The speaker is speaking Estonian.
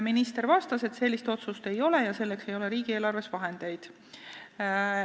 Minister vastas, et sellist otsust ei ole ja selleks ei ole riigieelarves vahendeid.